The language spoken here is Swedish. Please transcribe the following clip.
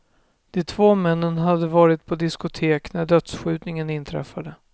De två männen hade varit på diskotek när dödsskjutningen inträffade.